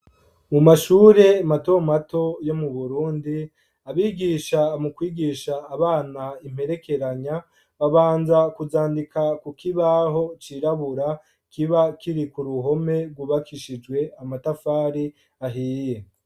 Mu mashure matomato yo mu Burundi, abigisha mu kwigisha imperekerenya babanza kuzandika ku kibaho cirabura kiba kiri ku ruhome rwubakishijwe amatafari ahiye.